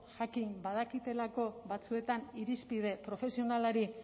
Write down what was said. jakin badakitelako batzuetan irizpide profesionalari